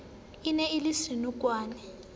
e ne e le senokwane